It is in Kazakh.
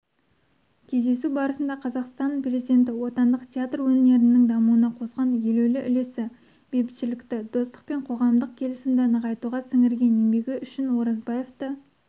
кездесу барысында қазақстан президенті отандық театр өнерінің дамуына қосқан елеулі үлесі бейбітшілікті достық пен қоғамдық келісімді нығайтуға сіңірген еңбегі үшін оразбаевты